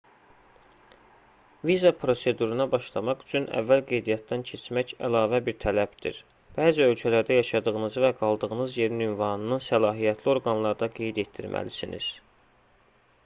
viza proseduruna başlamaq üçün əvvəl qeydiyyatdan keçmək əlavə bir tələbdir bəzi ölkələrdə yaşadığınızı və qaldığınız yerin ünvanını səlahiyyətli orqanlarda qeyd etdirməlisiniz